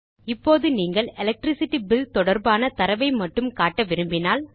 இப்போது நீங்கள் electricity bill தொடர்பான தரவை மட்டும் காட்ட விரும்பினால்